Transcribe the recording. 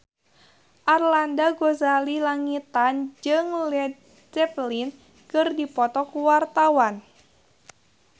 Arlanda Ghazali Langitan jeung Led Zeppelin keur dipoto ku wartawan